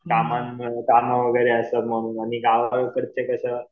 आणि गावाकडचे कसं